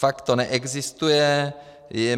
Fakt to neexistuje.